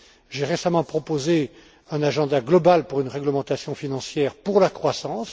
J'ai récemment proposé un agenda global pour une réglementation financière pour la croissance.